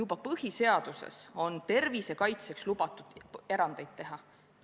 Ka põhiseaduses on tervise kaitseks lubatud erandeid teha.